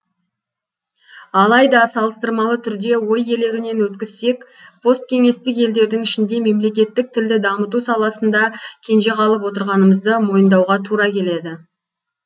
алайда салыстырмалы түрде ой елегінен өткізсек посткеңестік елдердің ішінде мемлекеттік тілді дамыту саласында кенже қалып отырғанымызды мойындауға тура келеді